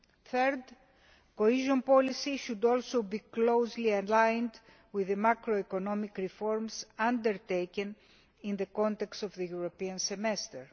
Third, cohesion policy should also be closely aligned with the macroeconomic reforms undertaken in the context of the European Semester.